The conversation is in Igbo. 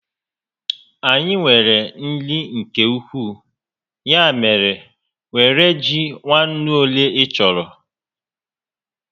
Anyị nwere nri nke ukwuu, ya mèrè, were ji nwa ńnú ólé ị chọrọ